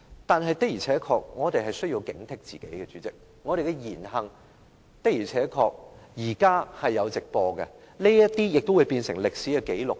但是，我們的確需要警惕自己，因為我們的言行會因為現時經常有直播而變成歷史紀錄。